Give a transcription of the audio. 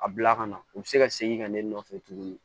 A bila ka na u bɛ segi ka ne nɔfɛ tuguni